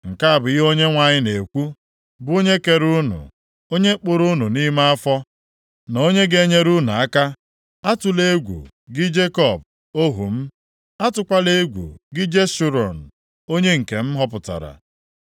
Nke a bụ ihe Onyenwe anyị na-ekwu, bụ onye kere unu, onye kpụrụ unu nʼime nʼafọ, na onye ga-enyere unu aka: Atụla egwu, gị Jekọb, + 44:2 Maọbụ, Izrel ohu m, atụkwala egwu gị Jeshurun, onye nke m họpụtara.